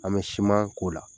An bɛ siman k'o la.